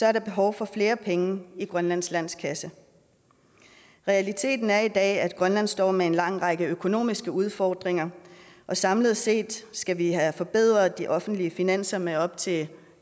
er der behov for flere penge i grønlands landskasse realiteten er i dag at grønland står med en lang række økonomisk udfordringer og samlet set skal vi have forbedret de offentlige finanser med op til